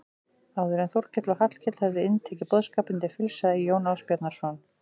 Áður en Þórkell og Hallkell höfðu inntekið boðskapinn til fulls sagði Jón Ásbjarnarson